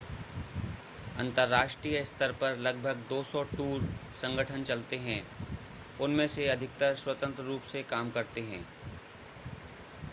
अन्तर्राष्ट्रीय स्तर पर लगभग 200 टूर संगठन चलते हैं उनमें से अधिकतर स्वतंत्र रूप से काम करते हैं